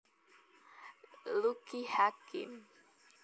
Lucky Hakim